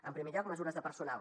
en primer lloc mesures de personal